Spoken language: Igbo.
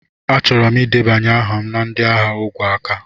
Achọrọ m ịdebanye aha na ndị agha ogwe aka.